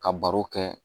Ka baro kɛ